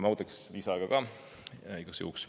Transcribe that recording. Ma võtaks lisaaega ka igaks juhuks.